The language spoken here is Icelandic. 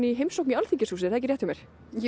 heimsókn í Alþingishúsið jú